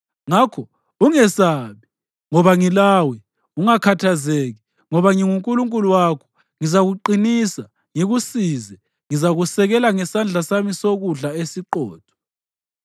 Ngakho ungesabi, ngoba ngilawe; ungakhathazeki, ngoba nginguNkulunkulu wakho. Ngizakuqinisa, ngikusize; ngizakusekela ngesandla sami sokudla esiqotho.